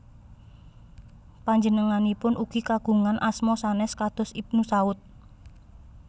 Panjenenganipun ugi kagungan asma sanes kados Ibnu Saud